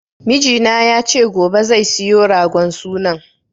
Mijina ya ce gobe zai siyo ragon sunan